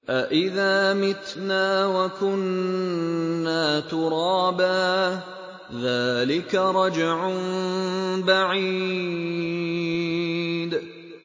أَإِذَا مِتْنَا وَكُنَّا تُرَابًا ۖ ذَٰلِكَ رَجْعٌ بَعِيدٌ